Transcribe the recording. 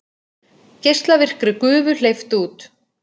Geislavirkri gufu hleypt út